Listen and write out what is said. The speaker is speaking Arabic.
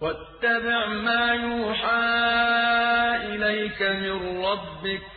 وَاتَّبِعْ مَا يُوحَىٰ إِلَيْكَ مِن رَّبِّكَ ۚ